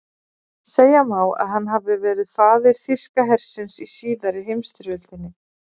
Segja má að hann hafi verið faðir þýska hersins í síðari heimsstyrjöldinni.